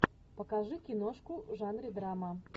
покажи киношку в жанре драма